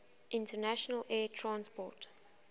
international air transport